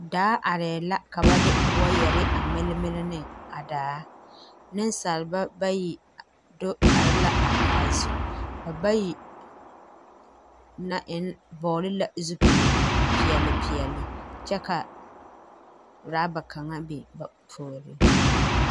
Daa areɛɛ la ka ba de wɔɔgarre a milemile neŋ daa neŋsalba bayi do are la a daa zu ba bayi na vɔgle la zupile peɛɛli peɛɛli kyɛ ka raba kaŋa biŋ ba puoriŋ.